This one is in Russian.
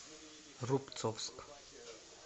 рубцовск